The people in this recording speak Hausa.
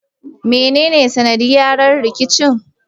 Me nene sanaɗiyara rikicin?